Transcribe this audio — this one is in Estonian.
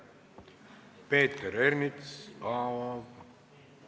Peeter Ernits, palun!